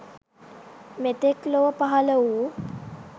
මෙතෙක් ලොව පහළ වූ